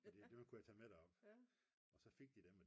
Fordi dem kunne jeg tage med derop. Og så fik de dem